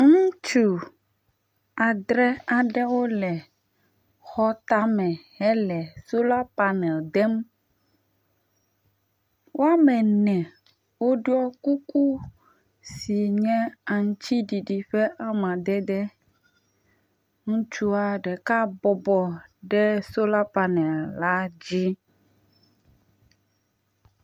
Ŋutsu adre aɖewo le xɔ tame hele solar panel dem, woame ene woɖɔ kuku si nye aŋutiɖiɖi ƒe amadede. Ŋutsua ɖeka bɔbɔ ɖe solar panel la dzi.